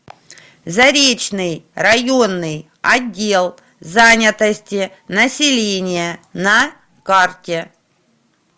заречный районный отдел занятости населения на карте